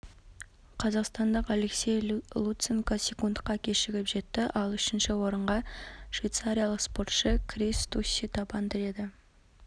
қазақстандық алексей луценко секундқа кешігіп жетті ал үшінші орынға швейцариялық спортшы крис стусси табан тіреді